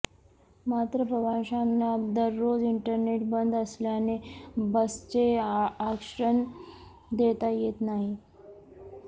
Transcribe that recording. मात्र प्रवाशांना दररोज इंटरनेट बंद असल्याने बसचे आरक्षण देता येत नाही